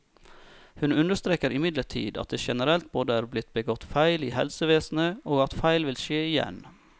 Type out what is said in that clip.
Hun understreker imidlertid at det generelt både er blitt begått feil i helsevesenet, og at feil vil skje igjen.